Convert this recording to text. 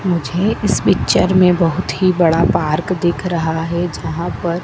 मुझे इस पिक्चर में बहोत ही बड़ा पार्क दिख रहा है। जहां पर--